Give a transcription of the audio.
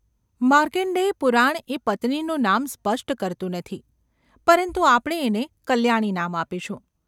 માર્કણ્ડેય પુરાણ એ પત્નીનું નામ સ્પષ્ટ કરતું નથી, પરંતુ આપણે એને કલ્યાણી નામ આપીશું.